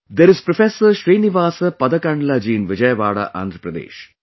There is Professor Srinivasa Padkandlaji in Vijayawada, Andhra Pradesh